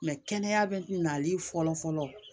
kɛnɛya bɛ nali fɔlɔ-fɔlɔ